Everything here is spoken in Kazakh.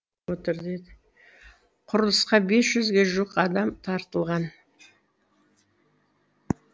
құрылысқа бес жүзге жуық адам тартылған